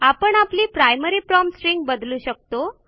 आपण आपली primary prompt string बदलू शकतो